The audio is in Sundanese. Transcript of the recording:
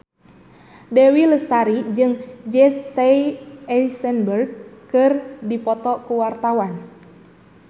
Dewi Lestari jeung Jesse Eisenberg keur dipoto ku wartawan